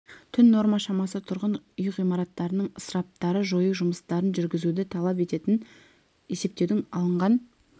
түн норма шамасы тұрғын үй ғимаратының ысырапты жою жұмыстарын жүргізуді талап ететінін есептеуден алынған